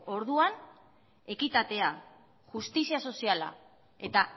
orduan ekitatea justizia soziala eta